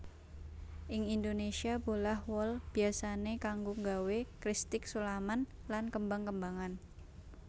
Ing Indonésia bolah wol biyasané kanggo nggawé kristik sulaman lan kembang kembangan